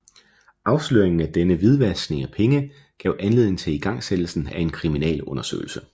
Afsløringen af denne hvidvaskning af penge gav anledning til igangsættelsen af en kriminalundersøgelse